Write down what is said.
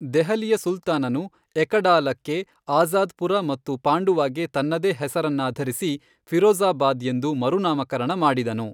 ದೆಹಲಿಯ ಸುಲ್ತಾನನು ಎಕಡಾಲಾಕ್ಕೆ ಆಜಾ಼ದ್ಪುರ ಮತ್ತು ಪಾಂಡುವಾಗೆ ತನ್ನದೇ ಹೆಸರನ್ನಾಧರಿಸಿ, ಫಿರೋಜಾ಼ಬಾದ್ ,ಎಂದು ಮರುನಾಮಕರಣ ಮಾಡಿದನು.